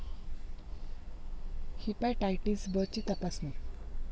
hepatitis ब ची तपासणी